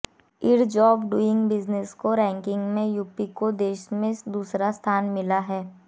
ease of doing business की ranking में UP को देश में दूसरा स्थान मिला है